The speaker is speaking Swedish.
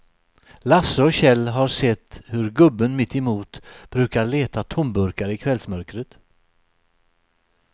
Lasse och Kjell har sett hur gubben mittemot brukar leta tomburkar i kvällsmörkret.